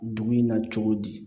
Dugu in na cogo di